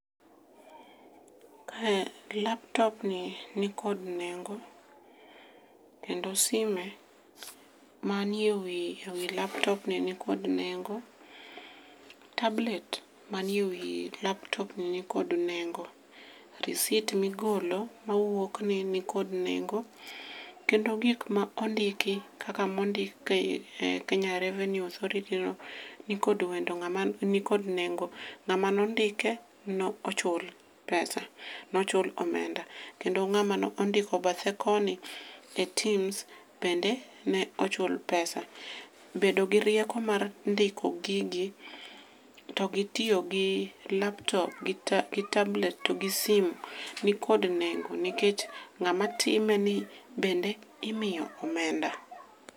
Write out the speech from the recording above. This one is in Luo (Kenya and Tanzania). Kae laptopni nikod nengo, kendo sime manie wi laptopni nikod nengo, tablet manie wi laptopni nikod nengo, risit migolo mawuok ni nikod nengo, kendo gik mondiki kaka mondik e Kenya Revenue authority nikod nengo, ng'ama nondike nochul pesa nochul omenda, kendo ng'ama nondiko bathe koni etims bende nochul pesa. Bedo gi rieko mar ndiko gigi to gi tiyo gi laptop, tablet kod sim nikod nengo nikech ng'ama timeni bende imiyo omenda.